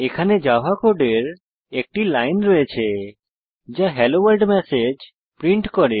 এখানে জাভা কোডের একটি লাইন রয়েছে যা হেলো ভোর্ল্ড ম্যাসেজ প্রিন্ট করে